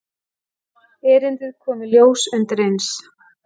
Erindið kom í ljós undireins.